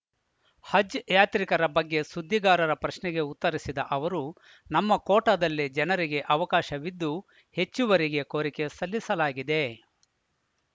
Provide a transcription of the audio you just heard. ಹಜ್‌ ಯಾತ್ರಿಕರ ಬಗ್ಗೆ ಸುದ್ದಿಗಾರರ ಪ್ರಶ್ನೆಗೆ ಉತ್ತರಿಸಿದ ಅವರು ನಮ್ಮ ಕೋಟಾದಲ್ಲಿ ಜನರಿಗೆ ಅವಕಾಶವಿದ್ದು ಹೆಚ್ಚುವರಿಗೆ ಕೋರಿಕೆ ಸಲ್ಲಿಸಲಾಗಿದೆ